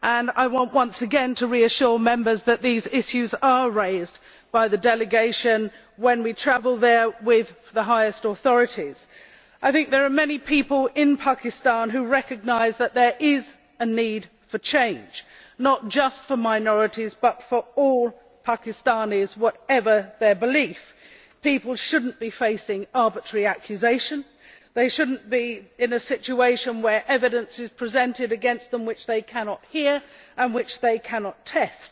I want once again to reassure Members that these issues are raised by the delegation with the highest authorities when we travel there. I think there are many people in Pakistan who recognise that there is a need for change, not just for minorities but for all Pakistanis, whatever their belief. People should not be facing arbitrary accusation they should not be in a situation where evidence is presented against them which they cannot hear and which they cannot test.